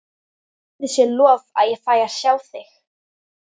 Guði sé lof ég fæ að sjá þig.